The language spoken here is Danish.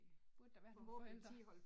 Burde der være nogle forældre